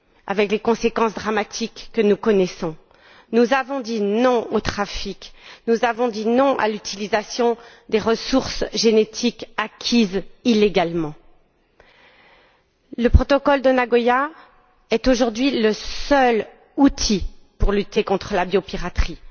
avec les conséquences dramatiques que nous connaissons. Nous avons dit non au trafic. Nous avons dit non à l'utilisation des ressources génétiques acquises illégalement. Le protocole de Nagoya est aujourd'hui le seul outil pour lutter contre la biopiraterie.